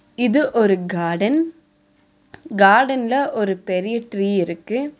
இது ஒரு காடன் காடன்ல ஒரு பெரிய ட்ரீ இருக்கு.